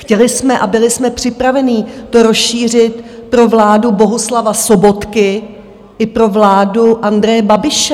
Chtěli jsme a byli jsme připraveni to rozšířit pro vládu Bohuslava Sobotky i pro vládu Andreje Babiše.